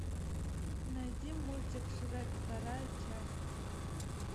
найди мультик шрек вторая часть